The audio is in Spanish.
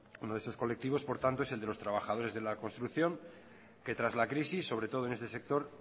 uno de estos colectivos por tanto es el de los trabajadores de la construcción que tras la crisis sobre todo en este sector